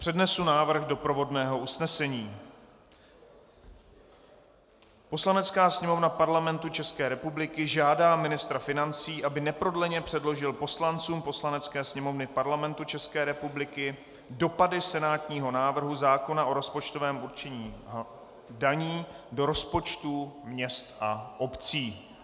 Přednesu návrh doprovodného usnesení: "Poslanecká sněmovna Parlamentu České republiky žádá ministra financí, aby neprodleně předložil poslancům Poslanecké sněmovny Parlamentu České republiky dopady senátního návrhu zákona o rozpočtovém určení daní do rozpočtů měst a obcí."